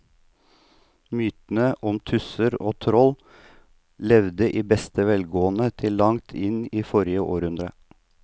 Mytene om tusser og troll levde i beste velgående til langt inn i forrige århundre.